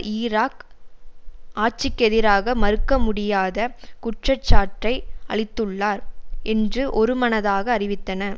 Iraq ஆட்சிக்கெதிராக மறுக்க முடியாத குற்றச்சாட்டை அளித்துள்ளார் என்று ஒருமனதாக அறிவித்தன